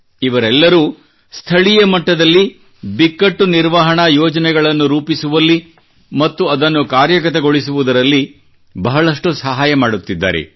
ಇವರೆಲ್ಲರೂ ಸ್ಥಳೀಯ ಮಟ್ಟದಲ್ಲಿ ಬಿಕ್ಕಟ್ಟು ನಿರ್ವಹಣಾ ಯೋಜನೆಗಳನ್ನು ರೂಪಿಸುವಲ್ಲಿ ಮತ್ತು ಅದನ್ನು ಕಾರ್ಯಗತಗೊಳಿಸುವುದರಲ್ಲಿ ಬಹಳಷ್ಟು ಸಹಾಯ ಮಾಡುತ್ತಿದ್ದಾರೆ